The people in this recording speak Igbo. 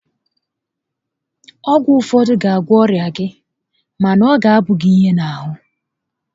Ọgwụ ụfọdụ ga agwọ ọrịa gị mana ọ ga qboọ gi ihe n'ahụ